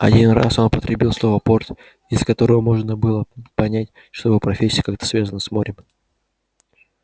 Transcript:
один раз он употребил слово порт из которого можно было понять что его профессия как-то связана с морем